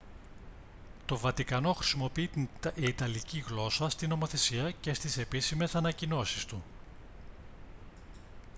το βατικανό χρησιμοποιεί την ιταλική γλώσσα στη νομοθεσία και στις επίσημες ανακοινώσεις του